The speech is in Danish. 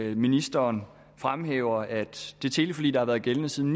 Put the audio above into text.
at ministeren fremhæver at det teleforlig der har været gældende siden